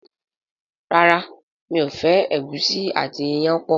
ràrá mi'o fẹ egusi àti iyán pọ.